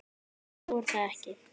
Nú, var það ekki?